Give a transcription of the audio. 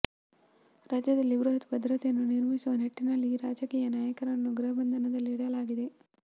ರಾಜ್ಯದಲ್ಲಿ ಬೃಹತ್ ಭದ್ರತೆಯನ್ನು ನಿರ್ಮಿಸುವ ನಿಟ್ಟಿನಲ್ಲಿ ಈ ರಾಜಕೀಯ ನಾಯಕರನ್ನು ಗೃಹಬಂಧನದಲ್ಲಿ ಇಡಲಾಗಿದೆ